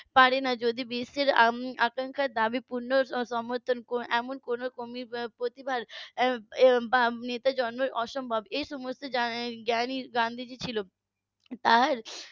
পারেনা যদি বিশ্বের উম আকাঙ্খা দাবি পূর্ণ সমর্থন এমন কোনো প্রতিভা বা নেতার জন্ম অসম্ভব এই সমস্ত জ্ঞান ই গান্ধীজির ছিল তার